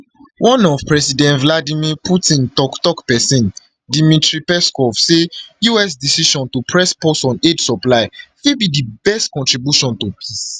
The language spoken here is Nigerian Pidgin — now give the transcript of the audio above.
one of president vladimir putin tok tok pesin dmitry peskov say us decision to press pause on aid supply fit be di best contribution to peace